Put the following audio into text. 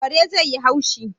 Kare zai yi haushi